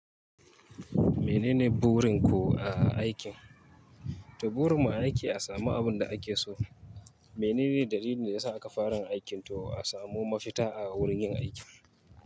Menene burin ku a aikin? To burin ma aiki a samu abinda ake so. Menene dalilin da yasa aka fara aikin to a samu mafita a wurin yin aiki?